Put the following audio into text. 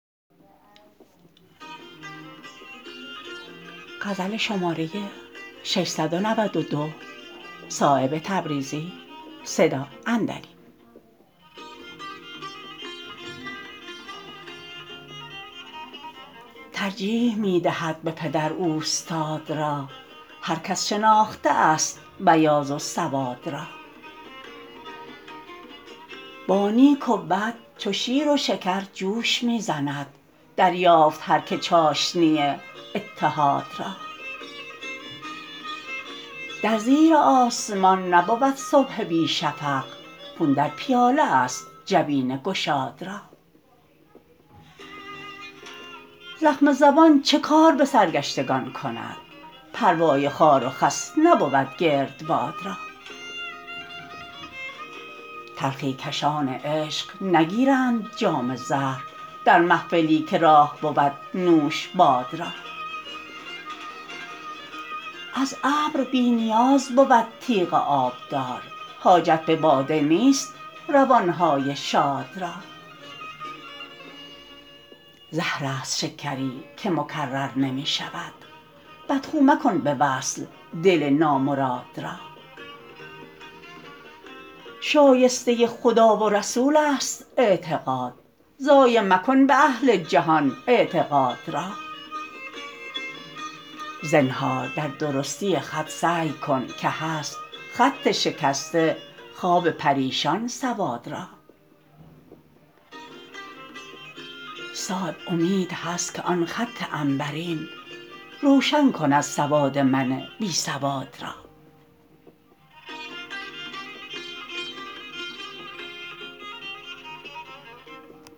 ترجیح می دهد به پدر اوستاد را هر کس شناخته است بیاض و سواد را با نیک و بد چو شیر و شکر جوش می زند دریافت هر که چاشنی اتحاد را در زیر آسمان نبود صبح بی شفق خون در پیاله است جبین گشاد را زخم زبان چه کار به سرگشتگان کند پروای خار و خس نبود گردباد را تلخی کشان عشق نگیرند جام زهر در محفلی که راه بود نوش باد را از ابر بی نیاز بود تیغ آبدار حاجت به باده نیست روان های شاد را زهرست شکری که مکرر نمی شود بدخو مکن به وصل دل نامراد را شایسته خدا و رسول است اعتقاد ضایع مکن به اهل جهان اعتقاد را زنهار در درستی خط سعی کن که هست خط شکسته خواب پریشان سواد را صایب امید هست که آن خط عنبرین روشن کند سواد من بی سواد را